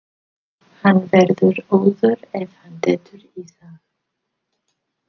Hann verður óður ef hann dettur í það!